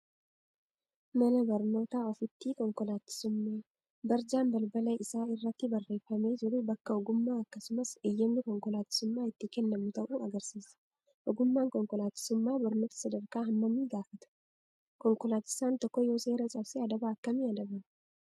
Mana barnootaa ooffitii konkolaachisummaa. Barjaan balbala isaa irratti barreeffamee jiru bakka ogummaa akkasumas eeyyamni konkolaachisummaa itti kennamu ta'uu agarsiisa. Ogummaan konkolaachisummaa barnoota sadarkaa hammamii gaafata? Konkolaachisaan tokko yoo seera cabse adaba akkamii adabama?